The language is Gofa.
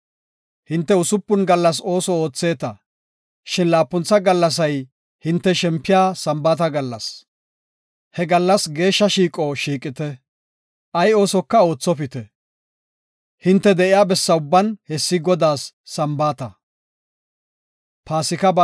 Hinte usupun gallas ooso ootheeta, shin laapuntha gallasay hinte shempiya Sambaata gallas. He gallas geeshsha shiiqo shiiqite; ay oosoka oothopite; hinte de7iya bessa ubban hessi Godaas Sambaata.